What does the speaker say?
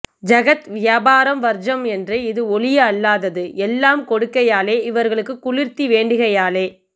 ஜகத் வியாபார வர்ஜம் என்று இது ஒழிய அல்லாதது எல்லாம் கொடுக்கையாலே இவர்களுக்கு குளிர்த்தி வேண்டுகையாலே